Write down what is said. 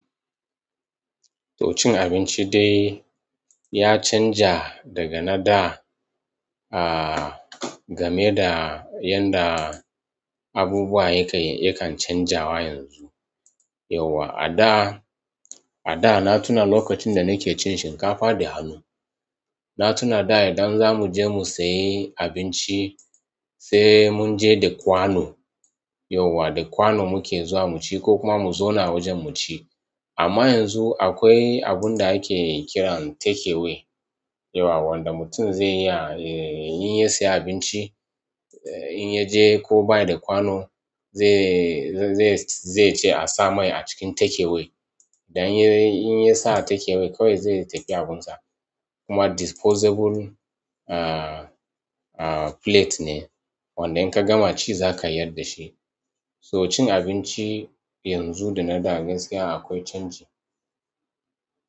To cin abinci dai ya canja daga na da, ah, game da yadda abubuwa yakan, yakan canjawa yanzu. Yauwa a da, a da na tuna lokacin da nake cin shinkafa da hannu. Na tuna da idan za mu je mu sayi abinci, sai mun je da kwano. Yauwa da kwano muke zuwa mu ci ko kuma mu zauna wajen mu ci. Amma yanzu akwai abunda ake kira takeaway yauwa, wanda mutum zai iya, in ya siya abinci, in yaje ko bayi da kwano, zai ce a sa mai a cikin takeaway. Dan in, in ya sa takeaway kawai zai tafi abunsa. Kuma disposable, ah, ah, plate ne wanda in ka gama ci za ka yarda shi. So cin abinci yanzu da na da gaskiya akwai canji.